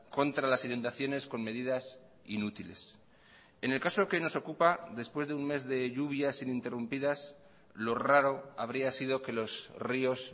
contra las inundaciones con medidas inútiles en el caso que nos ocupa después de un mes de lluvias interrumpidas lo raro habría sido que los ríos